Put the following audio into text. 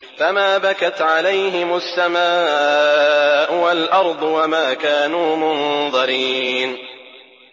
فَمَا بَكَتْ عَلَيْهِمُ السَّمَاءُ وَالْأَرْضُ وَمَا كَانُوا مُنظَرِينَ